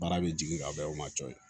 Baara bɛ jigin ka bɛn o ma cɔye